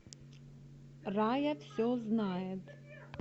рая все знает